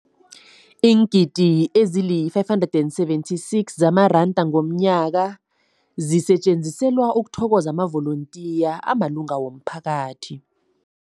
Iingidi ezima-576 zamaranda ngomnyaka zisetjenziselwa ukuthokoza amavolontiya amalunga womphakathi.